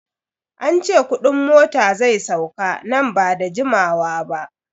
An ce kudin mota zai sauka nan ba da jimawa ba.